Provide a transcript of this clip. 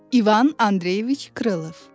İvan Andreyeviç Krılov.